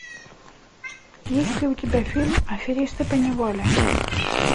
есть ли у тебя фильм аферисты поневоле